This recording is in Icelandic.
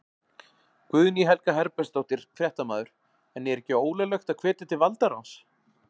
Guðný Helga Herbertsdóttir, fréttamaður: En er ekki ólöglegt að hvetja til valdaráns?